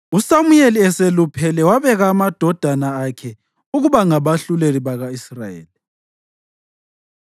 USamuyeli eseluphele wabeka amadodana akhe ukuba ngabahluleli baka-Israyeli.